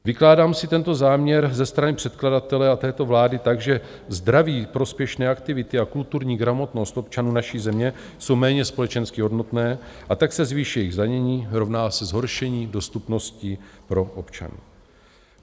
Vykládám si tento záměr ze strany předkladatele a této vlády tak, že zdraví prospěšné aktivity a kulturní gramotnost občanů naší země jsou méně společensky hodnotné, a tak se zvýší jejich zdanění, rovná se zhoršení dostupnosti pro občany.